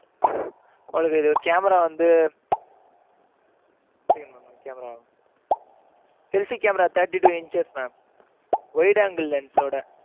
உங்களுக்கு, இது, camera வந்து, camera selfie camera thirty two inches mam. wide angle lens சோட.